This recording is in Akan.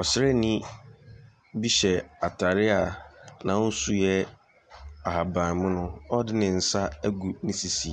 Ɔsraani bi hyɛ atare a n'ahosu yɛ ahabammono, a ɔde ne nsa agune sisi